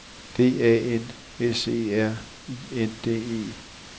D A N S E R I N D E